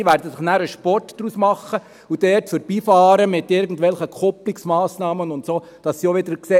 Sie werden sich einen Sport draus machen und dort mit irgendwelchen Kupplungsmassnahmen vorbeifahren, sodass sie sehen: